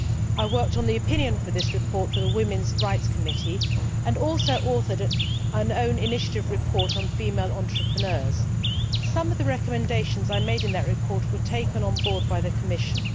I worked on the opinion for this report for the Women's Rights Committee and also authored an own initiative report on female entrepreneurs. Some of the recommendations I made in that report were taken on board by the Commission.